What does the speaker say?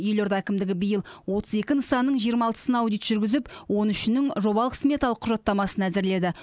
елорда әкімдігі биыл отыз екі нысанның жиырма алтысына аудит жүргізіп он үшінің жобалық сметалық құжаттамасын әзірледі